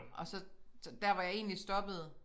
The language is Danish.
Og så dér hvor jeg egentlig stoppede